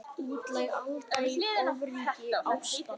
Útlæg Alda í ofríki ástar.